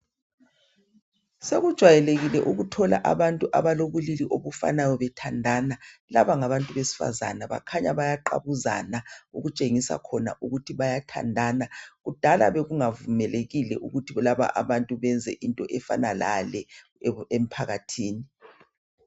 Sekujayelekile ukuthola abantu abalobulili obufanayo bethandana. Laba ngabantu besifaza bakhanya bayaqabuzana okutshengisa khona ukuthi bayathandana. Kudala bekungavumelekile ukuthi abantu benze into efana lale emphakathini.